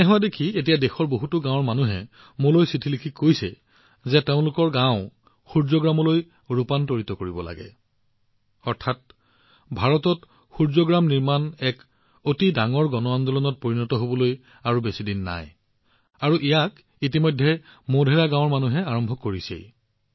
এনে হোৱা দেখি এতিয়া দেশৰ বহুতো গাঁৱৰ মানুহে মোলৈ পত্ৰ লিখি আছে যে তেওঁলোকৰ গাওঁখনো সূৰ্য গাঁৱলৈ ৰূপান্তৰিত কৰিব লাগে অৰ্থাৎ সেই দিন বেছি দূৰ নহয় যেতিয়া ভাৰতত সূৰ্যগ্ৰাম নিৰ্মাণ এক বৃহৎ গণ আন্দোলনলৈ পৰিণত হব আৰু মোধেৰা গাঁৱৰ মানুহে ইতিমধ্যে সেইটো আৰম্ভ কৰিছেই